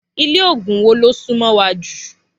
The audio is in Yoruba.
Ilé ògùn wo ló sún mó wa jù?